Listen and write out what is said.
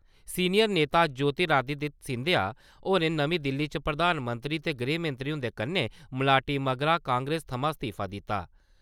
Senior नेता ज्योतिराअदित्य सिंधिया होरें नमीं दिल्ली च प्रधानमंत्री ते गृहमंत्री हुंदे कन्नै मलाटी मगरा कांग्रेस थमां इस्तीफा दित्ता ।